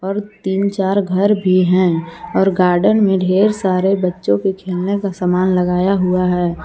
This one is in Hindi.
और तीन चार घर भी हैं और गार्डन में ढेर सारे बच्चों के खेलने का सामान लगाया हुआ है।